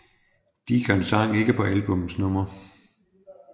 Deacon sang ikke på albummets nummer